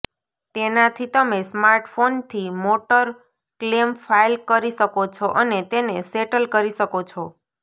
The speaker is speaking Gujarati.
તેનાથી તમે સ્માર્ટફોનથી મોટર ક્લેમ ફાઇલ કરી શકો છો અને તેને સેટલ કરી શકો છો